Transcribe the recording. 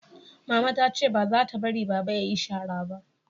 mama ta ce ba za ta bari baba ya yi shara ba